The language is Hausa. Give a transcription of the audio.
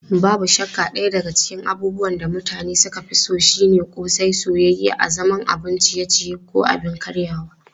Babu shakka daya daga cikin abubuwan da mutane suka fi so shine ƙosai, soyayye a zaman abun ciye-ciye ko abin karyawa.